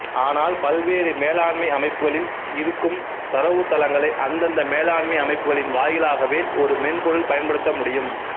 ஆனால் பல்வேறு மேலாண்மை அமைப்புகளில் இருக்கும் தரவுத்தளங்களை அந்தந்த மேலாண்மை அமைப்புகளின் வாயிலாகவே ஒரு மென்பொருள் பயன்படுத்தமுடியும்